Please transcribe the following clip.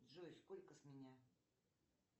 джой сколько с меня